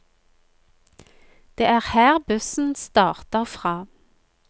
Det er her bussen starter fra.